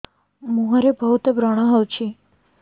ମୁଁହରେ ବହୁତ ବ୍ରଣ ହଉଛି